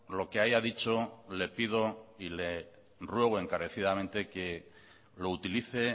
lo que haya dicho le pido y le ruego encarecidamente que lo utilice